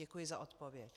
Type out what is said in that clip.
Děkuji za odpověď.